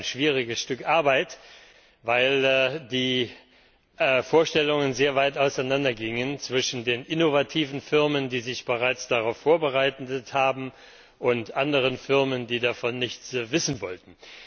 Es war ein schwieriges Stück Arbeit, weil die Vorstellungen sehr weit auseinander gingen zwischen den innovativen Firmen, die sich bereits darauf vorbereitet haben, und anderen Firmen, die davon nichts wissen wollten.